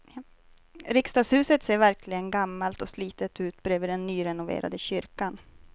Riksdagshuset ser verkligen gammalt och slitet ut bredvid den nyrenoverade kyrkan.